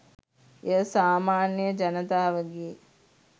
එය සාමාන්‍ය ජනතාවගේ